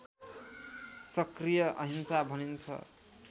सक्रिय अहिंसा भनिन्छ